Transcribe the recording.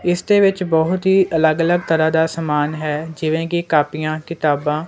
ਇਸ ਦੇ ਵਿੱਚ ਬਹੁਤ ਹੀ ਅਲੱਗ ਅਲੱਗ ਤਰ੍ਹਾਂ ਦਾ ਸਮਾਨ ਹੈ ਜਿਵੇਂ ਕਿ ਕਾਪੀਆਂ ਕਿਤਾਬਾਂ।